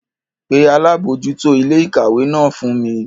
Pe Alabojuto ile-ikawe náà fun mi!